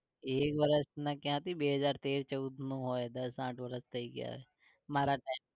એક વર્ષ ક્યાથી? બે હજાર તેર ચૌદમાં હોય દસ આઠ વરસ થઈ ગ્યા હશે મારા time